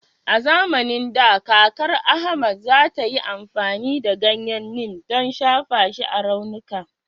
A zamanin da, kakar Ahmed za ta yi amfani da ganyen Neem don, shafa shi akan raunuka.